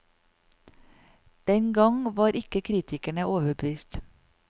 Den gang var ikke kritikerne overbevist.